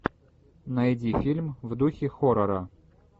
найди фильм в духе хоррора